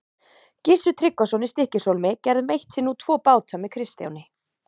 Gissur Tryggvason í Stykkishólmi gerðum eitt sinn út tvo báta með Kristjáni.